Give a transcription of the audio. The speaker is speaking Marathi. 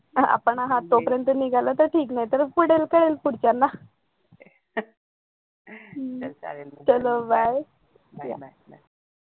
हा आता आपण आहेत तो पर्यंत निघालं तर ठीक नाहीतर कळेल पुढच्यांना चलो bye